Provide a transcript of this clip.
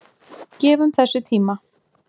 Gefum þessu tíma.